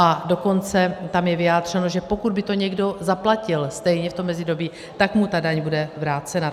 A dokonce tam je vyjádřeno, že pokud by to někdo zaplatil stejně v tom mezidobí, tak mu ta daň bude vrácena.